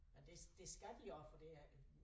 Men det det skal de også for det er